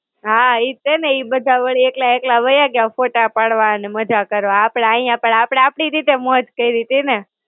હાં ઈજ છે ને. ઈ બધા વળી એકલા એકલા વાયા ગ્યા, ફોટા પાડવા ને મજા કરવા, આપડે અહીયાં પણ આપડે આપડી રીતે મોજ કઈરીતી ને.